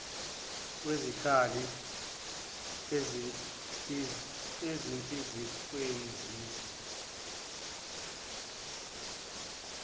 kwezikhala ezihlinzekiwe siza